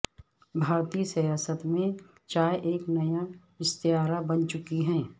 بھارتی سیاست میں چائے ایک نیا استعارہ بن چکی ہے